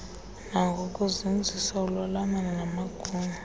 nangokuzinzisa ulwalamano namagunya